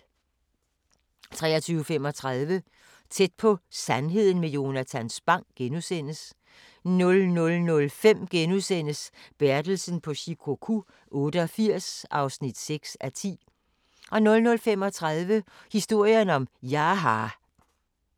23:35: Tæt på sandheden med Jonatan Spang * 00:05: Bertelsen på Shikoku 88 (6:10)* 00:35: Historien om Jaha